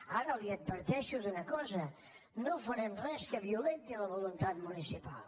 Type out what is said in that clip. ara l’adverteixo d’una cosa no farem res que violenti la voluntat municipal